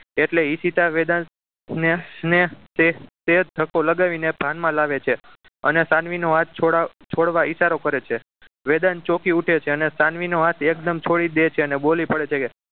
એટલે ઈશિતા વેદાંશને ને તે તે તે ધક્કો લગાવી ભાનમાં લાવે છે અને સાનવી નો હાથ છોડાવવા છોડવા ઈશારો કરે છે વેદાંશ ચોકી ઉઠે છે અને સાનવી નો હાથ એકદમ છોડી દે છે અને બોલી પડે છે